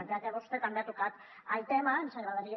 ja que vostè també ha tocat el tema ens agradaria